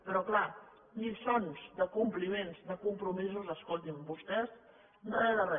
però clar de lliçons de compliments de compromisos escolti’m vostès re de re